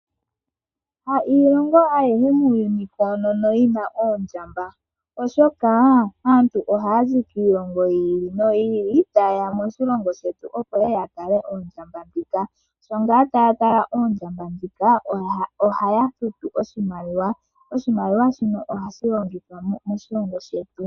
Ha iilongo ayihe muuyuni koonono yina oondjamba oshoka aantu oha yazi kiilongo yi ili no yi ili ta yeya moshilongo shetu opo yeye yatale Oondjamba ndhika, sho ngaa taya tala oondjamba ndhika oha yafutu oshimaliwa, oshimaliwa shino oha shilongithwa moshilongo shetu.